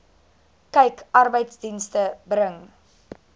kyk arbeidsdienste bring